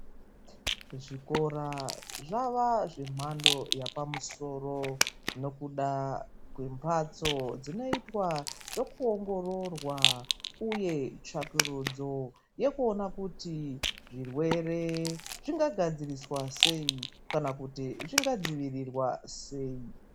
Zvikora zvava zvemhando yapamusoro nokuda kwembatso dzinoitwa zvekuongororwa, uye tsvagurudzo yekuona kuti zvirwere zvingagadziriswa sei kana kuti zvingadzivirwa sei.